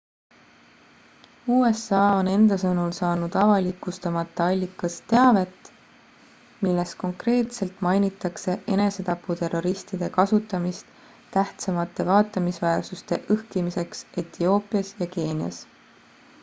usa on enda sõnul saanud avalikustamata allikast teavet milles konkreetselt mainitakse enesetaputerroristide kasutamist tähtsamate vaatamisväärsuste õhkimiseks etioopias ja keenias